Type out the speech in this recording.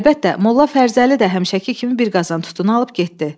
Əlbəttə, Molla Fərzəli də həmişəki kimi bir qazan tutunu alıb getdi.